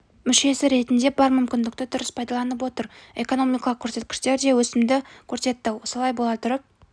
мүшесі ретінде бар мүмкіндікті дұрыс пайдаланып отыр экономикалық көрсеткіштер де өсімді көрсетті солай бола тұрып